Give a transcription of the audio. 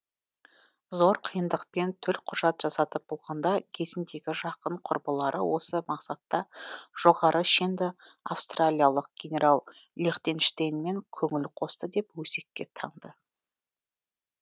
зор қиындықпен төлқұжат жасатып болғанда кезіндегі жақын құрбылары осы мақсатта жоғары шенді австралиялық генерал лихтенштейнмен көңіл қосты деп өсекке таңды